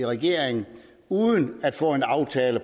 regeringen